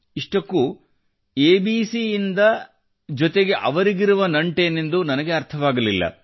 ಇಷ್ಟಕ್ಕೂ ಎಬಿಸಿ ಇಂದ ಜೊತೆಗೆ ಅವರಿಗಿರುವ ನಂಟೇನೆಂದು ನನಗೆ ಅರ್ಥವಾಗಲಿಲ್ಲ